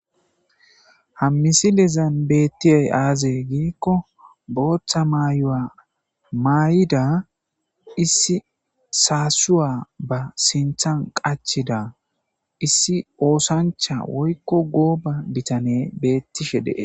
Hammisilezan beettiyay aaze giikko booththa maayo7a maay7ida issi saasuwa ba sinthan qachida issi oosancha woykko gooba bitane beettishe dee.